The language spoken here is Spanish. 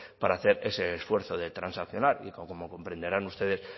para hacer ese esfuerzo de transaccionar y como comprenderán ustedes